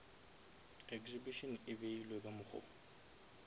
exhibition e ebile ka mokgo